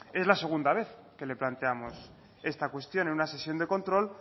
es la segunda vez que le planteamos esta cuestión en una sesión de control